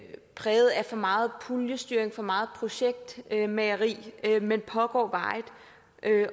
præget af for meget puljestyring for meget projektmageri men pågår varigt